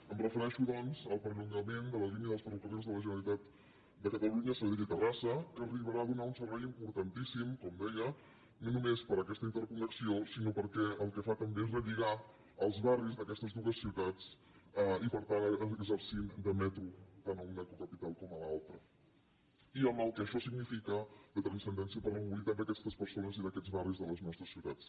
em refereixo doncs al perllongament de la línia dels ferrocarrils de la generalitat de catalunya a sabadell i terrassa que arribarà a donar un servei importantíssim com deia no només per aquesta interconnexió sinó perquè el que fa també és relligar els barris d’aquestes dues ciutats i per tant exercir de metro tant a una cocapital com a l’altra i amb el que això significa de transcendència per a la mobilitat d’aquestes persones i d’aquests barris de les nostres ciutats